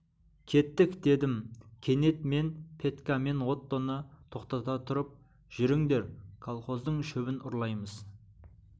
кеттік дедім кенет мен петька мен оттоны тоқтата тұрып жүріңдер колхоздың шөбінен ұрлаймыз